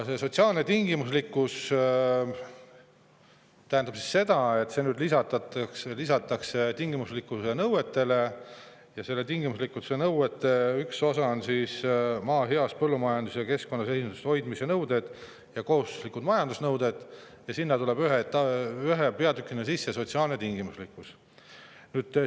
Sotsiaalne tingimuslikkus lisatakse nüüd tingimuslikkuse nõuetele ja tingimuslikkuse nõuete üks osa on maa heas põllumajandus‑ ja keskkonnaseisundis hoidmise nõuded ja kohustuslikud majandamisnõuded ning sinna tuleb ühe peatükina sisse sotsiaalse tingimuslikkuse peatükk.